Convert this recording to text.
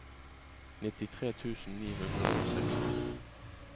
nittitre tusen ni hundre og seksti